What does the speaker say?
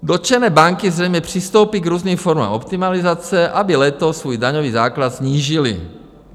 "Dotčené banky zřejmě přistoupí k různým formám optimalizace, aby letos svůj daňový základ snížily.